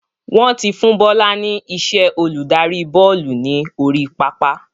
Wọn tí fún Bọlá ni iṣẹ́ olùdarí bọ́ọ́lù ni orí pápá